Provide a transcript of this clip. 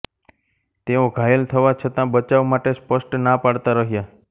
તેઓ ઘાયલ થવા છતાં બચાવ માટે સ્પષ્ટ ના પાડતા રહ્યા